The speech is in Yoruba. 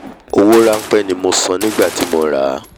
owó ránpẹ́ ni mo san nígbà tí mo ràá